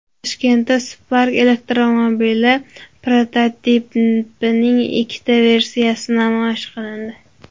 Toshkentda Spark elektromobili prototipining ikkita versiyasi namoyish qilindi.